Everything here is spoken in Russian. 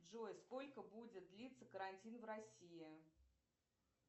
джой сколько будет длиться карантин в россии